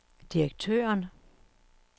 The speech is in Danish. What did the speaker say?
direktøren